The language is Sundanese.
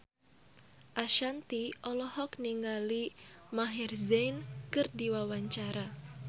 Ashanti olohok ningali Maher Zein keur diwawancara